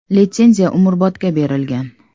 “Litsenziya umrbodga berilgan”.